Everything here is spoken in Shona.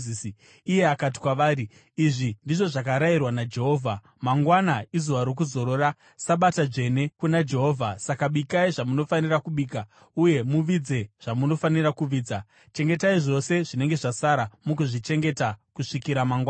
Iye akati kwavari, “Izvi ndizvo zvakarayirwa naJehovha: ‘Mangwana izuva rokuzorora, Sabata dzvene kuna Jehovha. Saka bikai zvamunofanira kubika uye muvidze zvamunofanira kuvidza. Chengetai zvose zvinenge zvasara, mugozvichengeta kusvikira mangwanani.’ ”